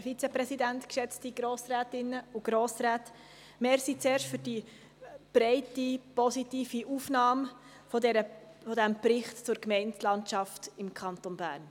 Vielen Dank zuerst für die breite und positive Aufnahme dieses Berichts zur Gemeindelandschaft im Kanton Bern.